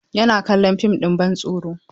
Yana kallon fim ɗin bantsoro.